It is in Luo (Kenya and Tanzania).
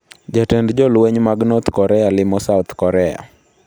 Jatend jolweny mag North Korea limo South Korea